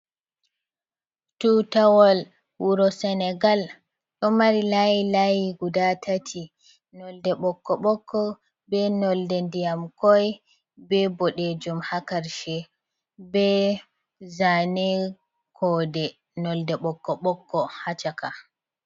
Tutawal wuro senegal. Ɗo mari layi layi guɗa tati. Nolɗe ɓokko ɓokko, ɓe nolɗe ɗiyam koi, ɓe ɓoɗejum ha karshe, ɓe zane koɗe nolɗe ɓokko ɓokko ha caka.